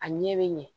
A ɲɛ bɛ ɲɛ